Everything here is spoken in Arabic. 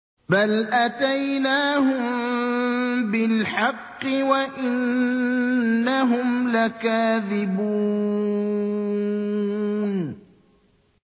بَلْ أَتَيْنَاهُم بِالْحَقِّ وَإِنَّهُمْ لَكَاذِبُونَ